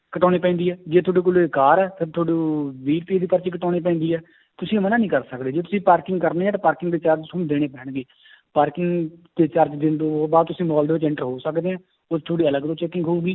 ਕਟਾਉਣੀ ਪੈਂਦੀ ਹੈ, ਜੇ ਤੁਹਾਡੇ ਕੋਲੇ ਕਾਰ ਹੈ ਫਿਰ ਤੁਹਾਨੂੰ ਵੀਹ ਰੁਪਏ ਦੀ ਪਰਚੀ ਕਟਾਉਣੀ ਪੈਂਦੀ ਹੈ ਤੁਸੀਂ ਮਨਾ ਨੀ ਕਰ ਸਕਦੇ ਜੇ ਤੁਸੀਂ parking ਕਰਨੀ ਹੈ ਤਾਂ parking ਦੇ charge ਤੁਹਾਨੂੰ ਦੇਣੇ ਪੈਣਗੇ parking ਦੇ charge ਦੇਣ ਤੋਂ ਬਾਅਦ ਤੁਸੀਂ ਮਾਲ ਦੇ ਵਿੱਚ enter ਹੋ ਸਕਦੇ ਹੈ ਉਹ ਤੁਹਾਡੀ ਅਲੱਗ ਤੋਂ checking ਹੋਊਗੀ